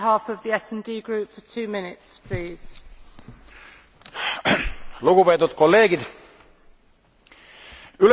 Lugupeetud kolleegid, ülehomme hääletame ühiselt Euroopa Parlamendi raporti üle Eesti liitumiseks euroalaga.